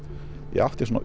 ég átti svona